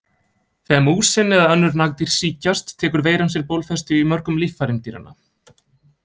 Þegar músin eða önnur nagdýr sýkjast tekur veiran sér bólfestu í mörgum líffærum dýranna.